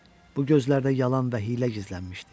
Bu gözlərdə yalan və hiylə gizlənmişdi.